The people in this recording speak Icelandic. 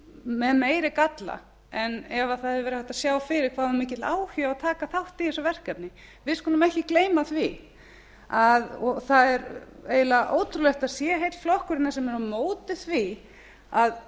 með meiri galla en ef það hefði verið hægt að sjá fyrir hvað það var mikill áhugi á að taka þátt í þessu verkefni við skulum ekki gleyma því og það er eiginlega ótrúlegt að það sé heill flokkur sem er á móti því að